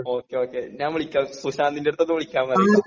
Okay okay ഞാൻ വിളിക്കാ സുശാന്തിന്റെടുത്തൊന്ന് വിളിക്കാൻ പറയ്യ്ട്ടോ.